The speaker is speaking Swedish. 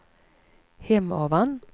Hemavan